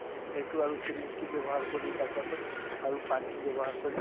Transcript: সেইটো আৰু syringe টো ব্যৱহাৰ কৰি তাৰ পিছত আৰু পানী ব্যৱহাৰ কৰি ,